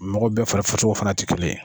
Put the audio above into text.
Mɔgɔ bɛɛ fari fana ti kelen ye.